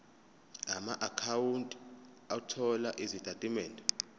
amaakhawunti othola izitatimende